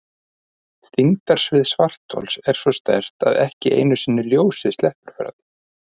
Þyngdarsvið svarthols er svo sterkt að ekki einu sinni ljósið sleppur frá því.